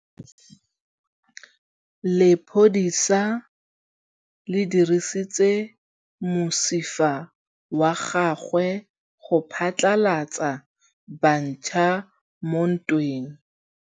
Lepodisa le dirisitse mosifa wa gagwe go phatlalatsa batšha mo ntweng.